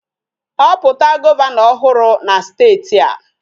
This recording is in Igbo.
Họpụta Gọvanọ ọhụrụ na steeti a